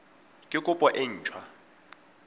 ke kopo e nt hwa